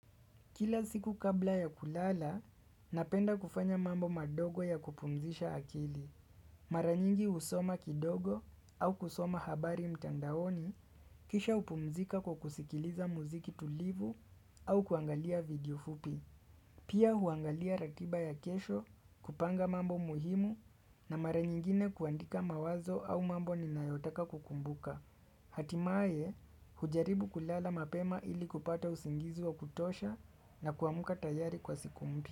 Kila siku kabla ya kulala, napenda kufanya mambo madogo ya kupumzisha akili. Mara nyingi husoma kidogo au kusoma habari mtandaoni, kisha hupumzika kwa kusikiliza muziki tulivu au kuangalia video fupi. Pia huangalia ratiba ya kesho kupanga mambo muhimu na mara nyingine kuandika mawazo au mambo ninayotaka kukumbuka. Hatimaye hujaribu kulala mapema ili kupata usingizi wa kutosha na kuamka tayari kwa siku moya.